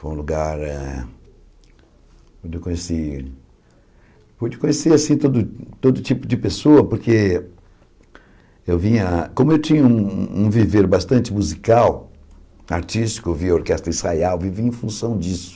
Foi um lugar eh onde eu conheci onde eu conheci assim todo todo tipo de pessoa, porque eu vinha... Como eu tinha um um viver bastante musical, artístico, eu via a Orquestra ensaiar, eu vivia em função disso.